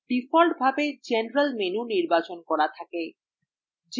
ডিফল্টভাবে general menu নির্বাচন করা থাকে